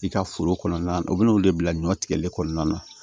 I ka foro kɔnɔna na u bɛna olu de bila ɲɔ tigɛli kɔnɔna na